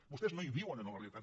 vostès no hi viuen en la realitat